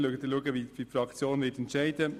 Wir werden sehen, wie die Fraktion abstimmen wird.